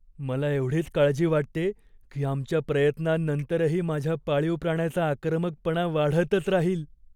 मला एवढीच काळजी वाटते की आमच्या प्रयत्नांनंतरही माझ्या पाळीव प्राण्याचा आक्रमकपणा वाढतच राहील.